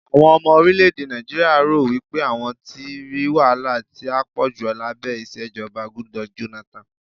àwọn ọmọ orilẹ ède Naijiria ro wipe àwọn tí ri wahala ti a poju labẹ ìṣèjọba Goodluck Jonathan